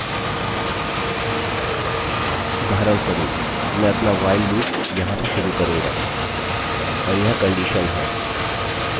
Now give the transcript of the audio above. उदाहरणस्वरूप मैं अपना while loop यहाँ से शुरू करूँगा और यह कंडीशन है और यह मेरा ब्लॉकढाँचा